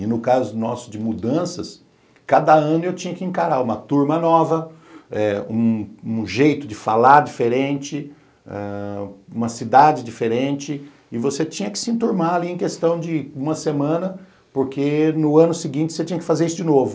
E no caso nosso de mudanças, cada ano eu tinha que encarar uma turma nova, eh um um jeito de falar diferente, uma cidade diferente, e você tinha que se enturmar ali em questão de uma semana, porque no ano seguinte você tinha que fazer isso de novo.